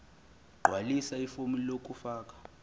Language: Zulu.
gqwalisa ifomu lokufaka